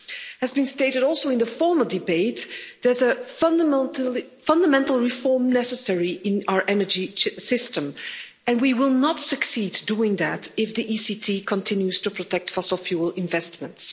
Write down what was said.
As has been stated also in the former debate, there's a fundamental reform necessary in our energy system and we will not succeed doing that if the ECT continues to protect fossil fuel investments.